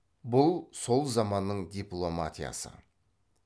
бұл сол заманның дипломатиясы